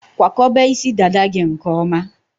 Kwakọba isi dada gị nke ọma.